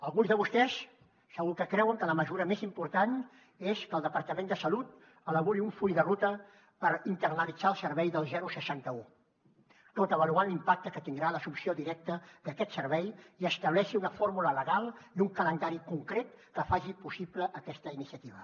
alguns de vostès segur que creuen que la mesura més important és que el departament de salut elabori un full de ruta per internalitzar el servei del seixanta un tot avaluant l’impacte que tindrà l’assumpció directa d’aquest servei i que estableixi una fórmula legal i un calendari concret que faci possible aquesta iniciativa